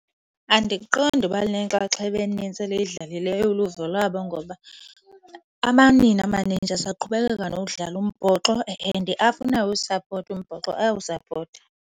Andiqondi uba lunenxaxheba enintsi eliyidlalileyo uluvo lwabo ngoba amanina amanintshi asaqhubekeka nokudlala umbhoxo and afuna uwusapota umbhoxo ayawusapota.